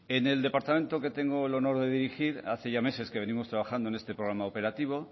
en el departamento que tengo el honor de dirigir hace ya meses que venimos trabajando en este programa operativo